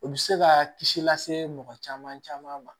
U bɛ se ka kisi lase mɔgɔ caman caman ma